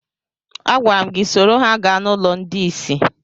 Agwara m gị soro ha gaa n'ụlọ ndị isi!